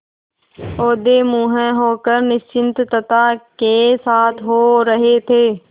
औंधे मुँह होकर निश्चिंतता के साथ सो रहे थे